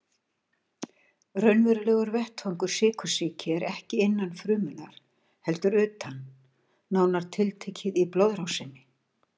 Raunverulegur vettvangur sykursýki er ekki innan frumunnar heldur utan, nánar tiltekið í blóðrásinni.